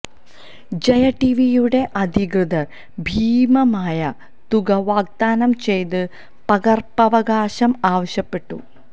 ജയ ടിവിയുടെ അധികൃതര് ഭീമമായ തുക വാഗ്ദാനം ചെയ്ത് പകര്പ്പവകാശം ആവശ്യപ്പെട്ടു